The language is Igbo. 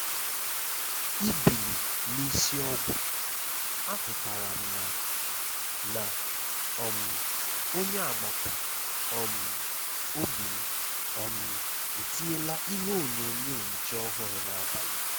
Ìbìlì n’isi ọ́gwụ̀, àhụtara m ná ná um onye agbata um obi m um etinyela ihe onyonyo nche ọ́hụ́rụ n’abalị.